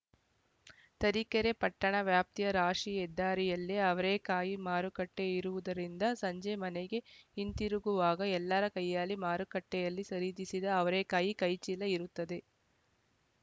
ತರೀಕೆರೆ ಪಟ್ಟಣ ವ್ಯಾಪ್ತಿಯ ರಾಶಿಯ ಹೆದ್ದಾರಿಯಲ್ಲೇ ಅವರೇಕಾಯಿ ಮಾರುಕಟ್ಟೆಇರುವುದರಿಂದ ಸಂಜೆ ಮನೆಗೆ ಹಿಂತಿರುಗುವಾಗ ಎಲ್ಲರ ಕೈಯಾಲ್ಲಿ ಮಾರುಕಟ್ಟೆಯಲ್ಲಿ ಖರೀದಿಸಿದ ಅವರೇಕಾಯಿ ಕೈಚೀಲ ಇರುತ್ತದೆ